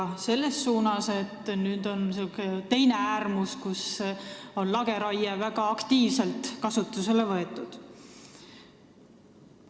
Seda tehti selles suunas, et nüüd on jõutud teise äärmusesse ja lageraie on väga aktiivselt kasutusele võetud.